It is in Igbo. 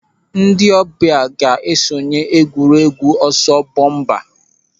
Ndị ọbịa ga-esonye n'egwuregwu ọsọ bọmpa.